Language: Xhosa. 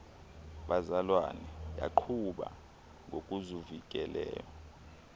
bazalwane yaqhuba ngokuzukileyo